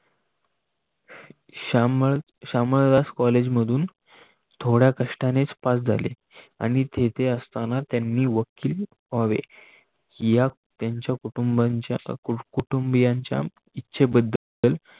शामलदास कॉलेजमधून थोड्या कष्टानेच पास झाले. आणि तेथे असताना त्यांनी वकील व्हावे या त्यांच्या कुटुंबांच्या इच्छेबद्दल